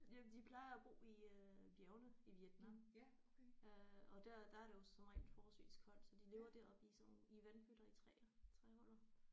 Ja de plejer at bo i øh bjergene i Vietnam øh og dér der er der jo som regel forholdsvist koldt så de lever deroppe i sådan nogle i vandpytter i træer træhuller